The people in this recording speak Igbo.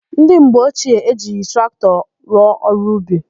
Ndị mgbe ochie ejighị traktọ rụọ ọrụ ubi.